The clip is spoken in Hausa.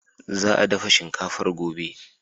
Za a dafa shinkafar gobe.